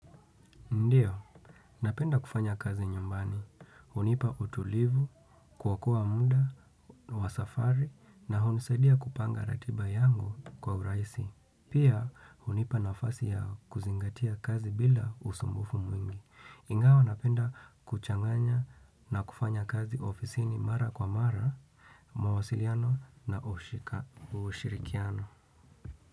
Ndiyo, napenda kufanya kazi nyumbani. Hunipa utulivu, kwa kuwa muda, wasafari, na hunisaidia kupanga ratiba yangu kwa urahisi. Pia, hunipa nafasi ya kuzingatia kazi bila usumbufu mwingi. Ingawa, napenda kuchanganya na kufanya kazi ofisini mara kwa mara, mawasiliano na ushirikiano.